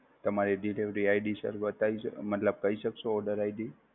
તમારે ID શરૂઆત થાય છે, મતલબ કઈ શકશો ઓર્ડરID?